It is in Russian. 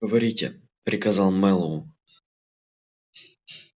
говорите приказал мэллоу